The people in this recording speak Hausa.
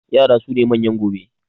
yara sune manyan gobe